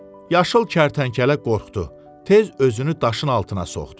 Yaşıl kərtənkələ qorxdu, tez özünü daşın altına soxdu.